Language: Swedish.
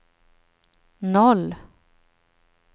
noll